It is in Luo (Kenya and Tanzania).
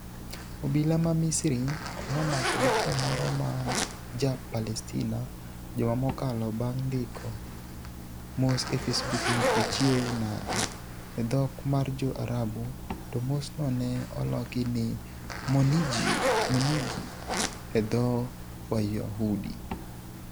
Obila ma Misri nomako dichuo moro ma ja Palestina juma mokalo bang' ndiko mos e facebook ni "uchiew nade" e dhok mar jo Arabu, to mos no ne oloki ni "monjgii" e dho Wayahudi